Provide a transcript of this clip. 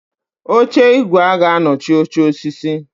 Oche igwe g'anochi oche osisi